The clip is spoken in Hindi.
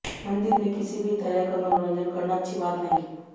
मंदिर में किसी भी तरह का मनोरंजन करना अच्छी बात नहीं होती